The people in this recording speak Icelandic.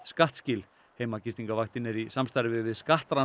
skattskil heimagistingarvaktin er í samstarfi við